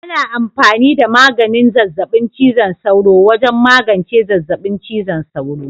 Ana amfani da maganin zazzabin cizon sauro wajen magance zazzabin cizon sauro.